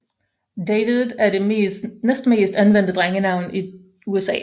David er det næstmest anvendte drengenavn i USA